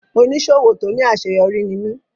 Oníṣòwò tó ní àṣeyọrí ní mí.